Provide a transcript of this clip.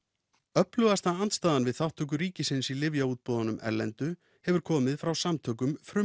öflugasta andstaðan við þátttöku ríkisins í lyfjaútboðunum erlendu hefur komið frá samtökum